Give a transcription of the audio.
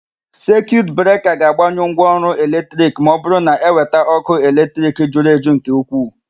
Sekiut breka ga-agbanyụ ngwaọrụ eletrik ma ọbụrụ na eweta ókụ́ eletrik juru eju nke ukwuu.